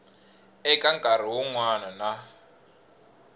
eka nkarhi wun wana na